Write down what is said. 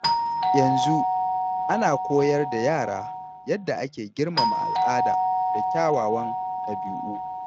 Yanzu, ana koyar da yara yadda ake girmama al’ada da kyawawan ɗabi’u.